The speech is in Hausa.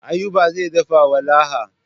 Ayuba zai dafa walaha.